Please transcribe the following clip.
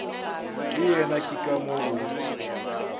le yena ke ka moo